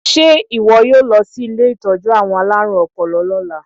Ṣé ìwọ yóò lọ sílé ìtọ́jú àwọn aláàrùn ọpọlọ lọ́la?